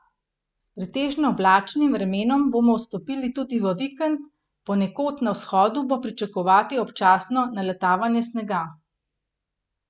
S pretežno oblačnim vremenom bomo vstopili tudi v vikend, ponekod na vzhodu bo pričakovati občasno naletavanje snega.